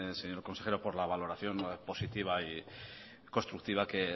señor consejero por la valoración positiva y constructiva que